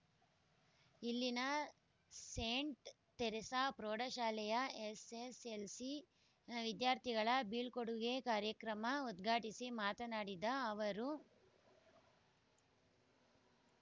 ಇಲ್ಲಿನ saint Teresa ಪ್ರೌಢ ಶಾಲೆಯ ಎಸ್ ಎಸ್ ಎಲ್ ಸಿ ವಿದ್ಯಾರ್ಥಿಗಳ ಬೀಳ್ಕೂಡುಗೆ ಕಾರ್ಯಕ್ರಮ ಉದ್ಘಾಟಿಸಿ ಮಾತನಾಡಿದ ಅವರು